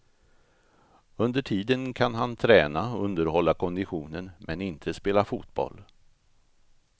Under tiden kan han träna, underhålla konditionen, men inte spela fotboll.